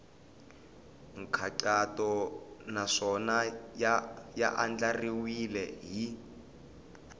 nkhaqato naswona ya andlariwile hi